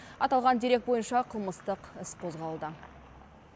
аталған дерек бойынша қылмыстық іс қозғалды